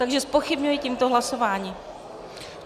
Takže zpochybňuji tímto hlasování.